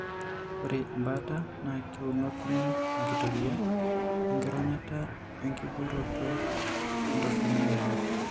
Ore embaata naa keunokini enkitoria enkironyata o enkiboorito entoroni eare.